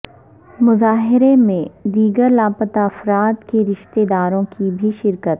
مظاہرے میں دیگر لاپتہ افراد کے رشتہ داروں کی بھی شرکت